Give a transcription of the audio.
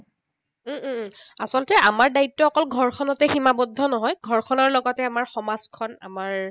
উম উম আচলত আমাৰ দায়িত্ব অকল ঘৰখনতে সীমাবদ্ধ নহয়। ঘৰখনৰ লগতে আমাৰ সমাজখন, আমাৰ